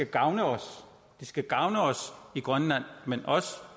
gavne os det skal gavne os i grønland men også